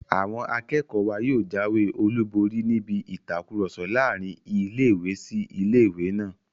Àwọn akẹ́kọ̀ọ́ wa yóò jáwé olùborí níbi ìtakùrọ̀sọ láàrin ilé-ìwé sí ilé-ìwé náà